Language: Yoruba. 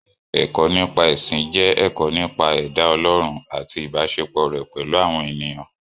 Ẹ̀kọ́-nípa-ẹ̀sìn jẹ́ ẹ̀kọ́ nípa ẹ̀dá Ọlọ́run àti ìbáṣepọ̀ rẹ̀ pẹ̀lú àwọn ènìyàn.